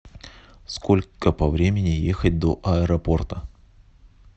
сколько по времени ехать до аэропорта